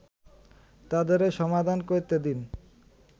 তাদেরই সমাধান করতে দিন